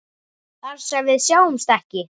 Þar sem við sjáumst ekki.